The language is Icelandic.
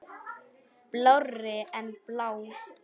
Blárri en blá.